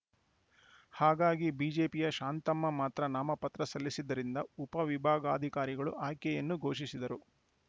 ಹಾಗಾಗಿ ಬಿಜೆಪಿಯ ಶಾಂತಮ್ಮ ಮಾತ್ರ ನಾಮಪತ್ರ ಸಲ್ಲಿಸಿದ್ದರಿಂದ ಉಪ ವಿಭಾಗಾಧಿಕಾರಿಗಳು ಆಯ್ಕೆಯನ್ನು ಘೋಷಿಸಿದರು